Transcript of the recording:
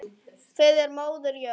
Fyrir móður jörð.